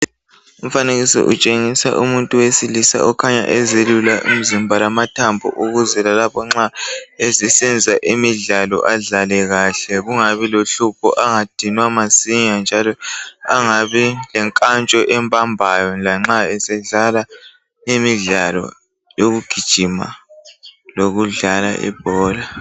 Umfanekiso utshengisa umuntu owesilisa okhanya ezelula umzimba lamathambo ukuze lalapho nxa esenza imidlalo adlale kahle kungabi lohlupho angadinwa masinyane njalo angabi lenkantsho ebambayo lanxa esedlala imidlalo yokugijima lokudlala ibhola.